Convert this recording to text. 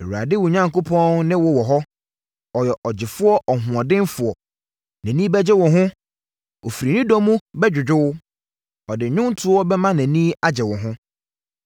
Awurade wo Onyankopɔn ne wo wɔ hɔ, Ɔyɛ ɔgyefoɔ ɔhoɔdenfoɔ. Nʼani bɛgye wo ho ɔfiri ne dɔ mu bɛdwodwo wo, ɔde nnwontoɔ bɛma nʼani agye wo ho.